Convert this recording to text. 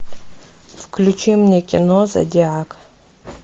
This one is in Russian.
включи мне кино зодиак